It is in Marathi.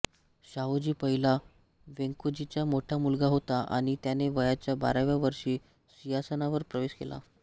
शाहूजी पहिला वेंकोजीचा मोठा मुलगा होता आणि त्याने वयाच्या बाराव्या वर्षी सिंहासनावर प्रवेश केला